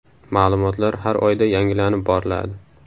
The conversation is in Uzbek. Ma’lumotlar har oyda yangilanib boriladi.